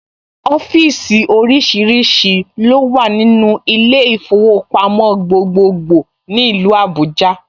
Ọ́fíìsì oríṣiríṣi ló wà nínú ilé ìfowópamọ́ gbogbogbòò ní ìlú Abuja